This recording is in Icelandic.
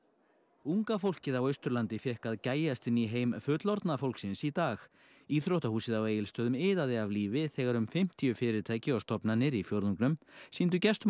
unga fólkið á Austurlandi fékk að gægjast inn í heim fullorðna fólksins í dag íþróttahúsið á Egilsstöðum iðaði af lífi þegar um fimmtíu fyrirtæki og stofnanir í fjórðungnum sýndu gestum og